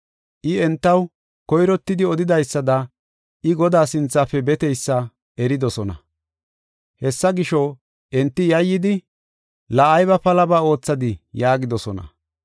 I entaw koyrottidi odidaysada I Godaa sinthafe beteysa eridosona. Hessa gisho, enti yayyidi, “La ayba palaba oothadi” yaagidosona.